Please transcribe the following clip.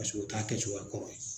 Paseke o ta kɛcogoya kɔrɔ ye.